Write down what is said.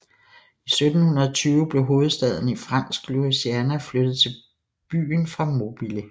I 1720 blev hovedstaden i Fransk Louisiana flyttet til byen fra Mobile